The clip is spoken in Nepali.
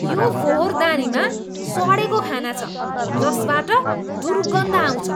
यो फोहोरदानीमा सडेको खाना छ जसबाट दुर्गन्ध आउँछ।